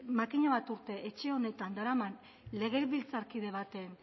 makina bat urte etxe honetan daraman legebiltzarkide baten